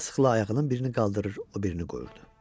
sıxıla-sıxıla ayağının birini qaldırır, o birini qoyurdu.